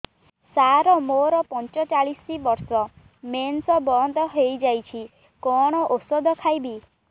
ସାର ମୋର ପଞ୍ଚଚାଳିଶି ବର୍ଷ ମେନ୍ସେସ ବନ୍ଦ ହେଇଯାଇଛି କଣ ଓଷଦ ଖାଇବି